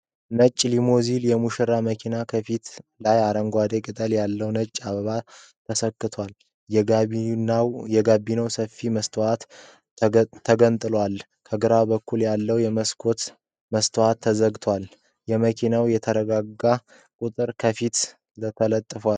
ነጭ ሊሞዚኖ የሙሽራ መኪና ከፊት ላይ አረንጓዴ ቅጠል ያለዉ ነጭ አበባ ሰክቷል። የጋቢናዉ ሰፊ መስታወት ተገጥሞለታል። ከግራ ጎን ያለዉ የመስኮት መስታወት ተዘግቷል። የመኪናዉ የታርጋ ቁጥር ከፊት ለጥፏል።